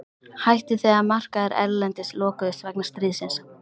Hætti þegar markaðir erlendis lokuðust vegna stríðsins.